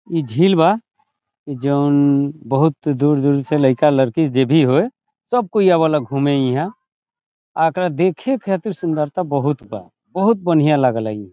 इ झील बा जोन बहुत दूर-दूर से लाइका-लयकी जे भी हेय सब आवेला घूमे हीया आ एकरा देखे खातिर सुंदरता बहुत बा बहुत बढ़िया लागे ला इ।